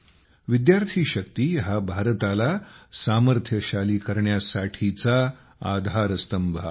विद्यार्थी शक्ती हा भारताला सामर्थ्यशाली करण्यासाठीचा आधारस्तंभ आहे